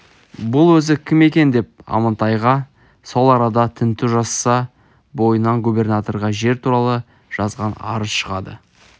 бұл өзі кім екен деп амантайға сол арада тінту жасаса бойынан губернаторға жер туралы жазған арыз шығады